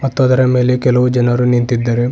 ಮತ್ತು ಅದರ ಮೇಲೆ ಕೆಲವು ಜನರು ನಿಂತಿದ್ದಾರೆ.